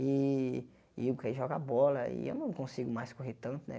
E e eu quero jogar bola e eu não consigo mais correr tanto, né?